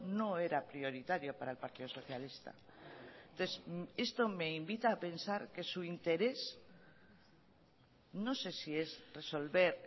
no era prioritario para el partido socialista esto me invita a pensar que su interés no sé si es resolver